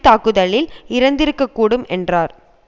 தாக்குதலில் இறந்திருக்கக்கூடும் என்றார்